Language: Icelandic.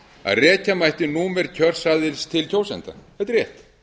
að rekja mætti númer kjörseðils til kjósenda þetta er rétt